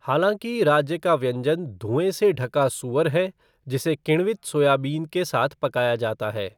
हालाँकि, राज्य का व्यंजन धुएँ से ढका सूअर है जिसे किण्वित सोयाबीन के साथ पकाया जाता है।